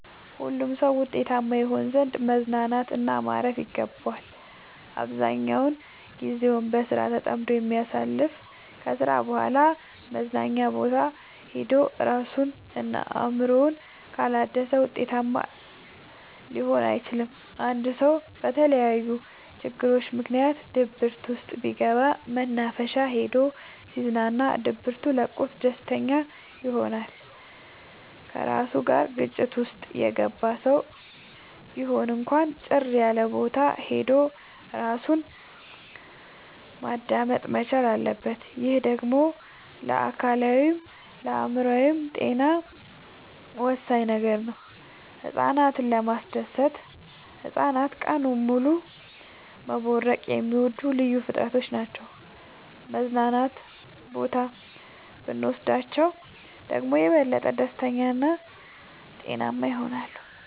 ሁሉም ሰው ውጤታማ ይሆን ዘንድ መዝናናት እና ማረፍ ይገባዋል። አብዛኛውን ግዜውን በስራ ተጠምዶ የሚያሳልፍ ከስራ በኋላ መዝናኛ ቦታ ሄዶ እራሱን እና አእምሮውን ካላደሰ ውጤታማ ሊሆን አይችልም። አንድ ሰው በተለያዩ ችግሮች ምክንያት ድብርት ውስጥ ቢገባ መናፈሻ ሄዶ ሲዝናና ድብቱ ለቆት ደስተኛ ይሆናል። ከራሱ ጋር ግጭት ውስጥ የገባ ሰው ቢሆን እንኳን ጭር ያለቦታ ሄዶ እራሱን ማዳመጥ መቻል አለበት። ይህ ደግሞ ለአካላዊይም ለአእምሮአዊም ጤና ወሳኝ ነገር ነው። ህፃናትን ለማስደሰት ህፃናት ቀኑን ሙሉ መቦረቅ የሚወዱ ልዩ ፍጥረቶች ናቸው መዝናና ቦታ ብኖስዳቸው ደግሞ የበለጠ ደስተኛ እና ጤናማ ይሆናሉ።